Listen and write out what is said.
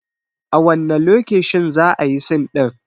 A wanne lokeshin za ayi sin ɗin?